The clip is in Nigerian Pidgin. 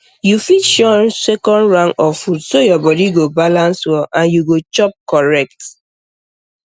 you fit shun second round of food so your body go balance well and you go chop correct